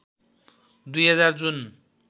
२००० जुन